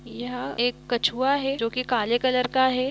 यह एक कछुआ है जो की काले कलर का है।